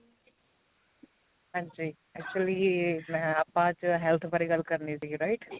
ਹਾਂਜੀ actually ਮੈਂ ਆਪਾਂ ਅੱਜ health ਬਾਰੇ ਗੱਲ ਕਰਨੀ ਸੀਗੀ write